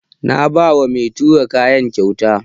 Na ba wa mai tura kaya kyauta.